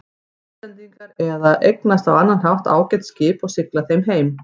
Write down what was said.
Íslendingar eða eignast á annan hátt ágæt skip og sigla þeim heim.